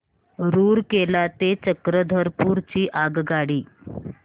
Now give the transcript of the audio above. रूरकेला ते चक्रधरपुर ची आगगाडी